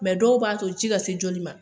Mɛ dɔw b'a to ji ka se joli ma.